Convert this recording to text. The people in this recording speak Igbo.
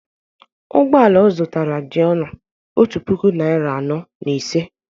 ụgbọ ala ọ zụtara dị ọnụ otu puku naịra anọ na ise